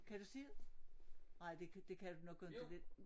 Kan du se det? Nej det det kan du nok inte det